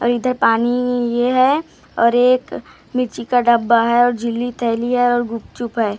इधर पानी ये है और एक का डब्बा है झिल्ली थैली है और गुपचुप है।